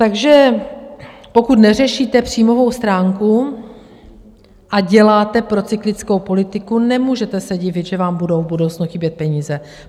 Takže pokud neřešíte příjmovou stránku a děláte procyklickou politiku, nemůžete se divit, že vám budou v budoucnu chybět peníze.